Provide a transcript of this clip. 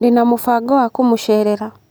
Ndĩna mũbango wa kũmũceerera.